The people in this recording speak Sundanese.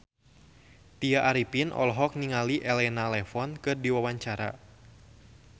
Tya Arifin olohok ningali Elena Levon keur diwawancara